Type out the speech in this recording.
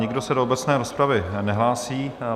Nikdo se do obecné rozpravy nehlásí.